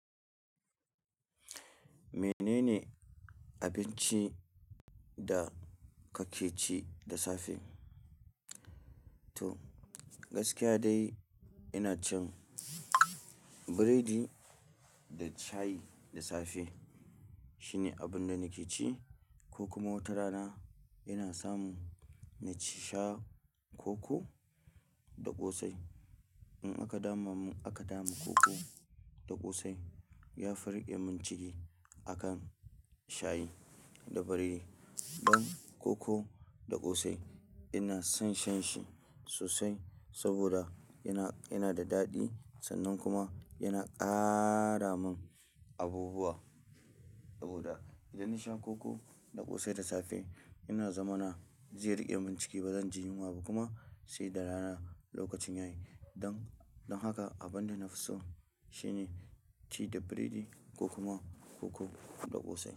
Menene abincin da kake ci da safe? To gaskiya dai ina cin biredi da shayi da safe. Shine abun da nake ci ko kuma watarana ina samu na ci sha koko da ƙosai. In aka dama mun, aka dama koko da ƙosai ya fi riƙe min ciki akan shayi da biredi. Ɗan koko da ƙosai ina son shan shi sosai saboda yana, yana da daɗi sannan kuma yana ƙara mun abubuwa. Saboda idan nasha koko da ƙosai da safe yana zamana zai riƙe min ciki bazan ji yunwa ba kuma sai da rana lokacin yayi. Don, don haka abun da na fi so shine tea da biredi ko kuma koko da ƙosai.